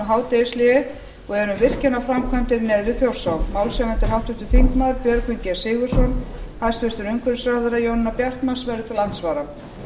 hádegishléi og er um virkjanaframkvæmdir neðan við þjórsá málshefjandi er háttvirtir þingmenn björgvin g sigurðsson háttvirtur umhverfisráðherra jónína bjartmarz verður til andsvara